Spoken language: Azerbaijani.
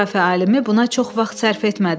Coğrafiya alimi buna çox vaxt sərf etmədi.